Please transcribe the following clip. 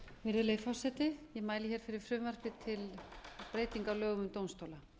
virðulegi forseti ég mæli hér fyrir frumvarpi til breytinga á lögum um dómstóla